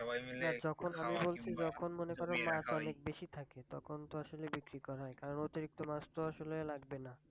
যখন আমি বলছি যখন মনে করো মাছ অনেক বেশী থাকে তখন তো আসলে বিক্রি করা হয় কারণ অতিরিক্ত মাছ তো আসলে লাগবে না।